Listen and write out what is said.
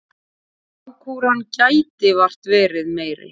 Lágkúran gæti vart verið meiri.